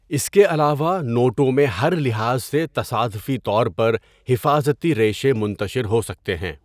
اس کے علاوہ، نوٹوں میں ہر لحاظ سے تصادفی طور پر حفاظتی ریشے منتشر ہو سکتے ہیں۔